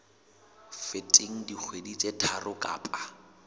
feteng dikgwedi tse tharo kapa